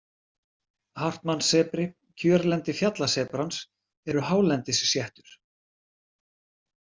Hartmannssebri Kjörlendi fjallasebrans eru hálendisséttur.